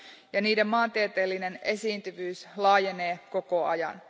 ja niiden maantieteellinen esiintyvyys laajenee koko ajan.